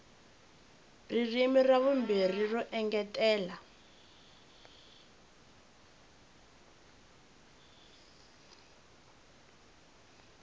ririmi ra vumbirhi ro engetela